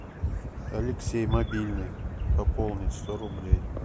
алексей мобильный пополнить сто рублей